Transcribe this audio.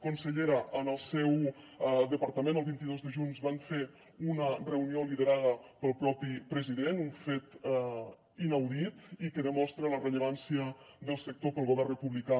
consellera en el seu departament el vint dos de juny van fer una reunió liderada pel propi president un fet inaudit i que demostra la rellevància del sector pel govern republicà